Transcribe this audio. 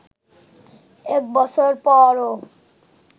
এক বছর পরও